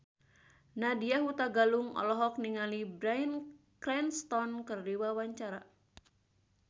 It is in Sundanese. Nadya Hutagalung olohok ningali Bryan Cranston keur diwawancara